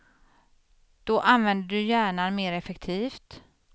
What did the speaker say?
Då använder du hjärnan mer effektivt.